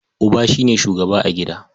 Uba shi ne shugaba a gida.